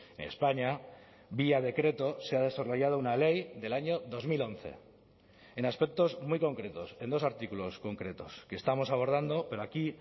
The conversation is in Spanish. en españa vía decreto se ha desarrollado una ley del año dos mil once en aspectos muy concretos en dos artículos concretos que estamos abordando pero aquí